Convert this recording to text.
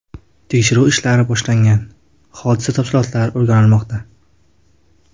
Tekshiruv ishlari boshlangan, hodisa tafsilotlari o‘rganilmoqda.